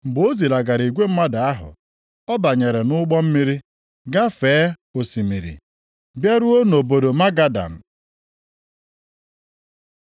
Mgbe o zilagara igwe mmadụ ahụ, ọ banyere nʼụgbọ mmiri gafee osimiri, bịaruo nʼobodo Magadan.